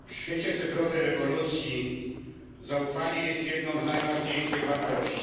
W świecie cyfrowej rewolucji zaufanie jest jedną z najważniejszych wartości.